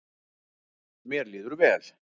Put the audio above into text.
Mér líður vel